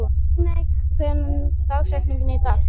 Líneik, hver er dagsetningin í dag?